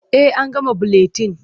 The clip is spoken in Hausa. Eh an gama buletin.